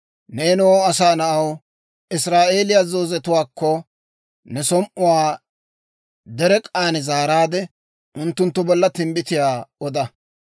«Neenoo asaa na'aw, Israa'eeliyaa zoozetuwaakko ne som"uwaa derek'k'aan zaaraadde, unttunttu bolla timbbitiyaa oda.